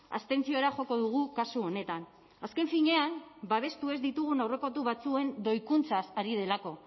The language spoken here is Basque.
abstentziora joko dugu kasu honetan azken finean babestu ez ditugun aurrekontu batzuen doikuntzaz ari delako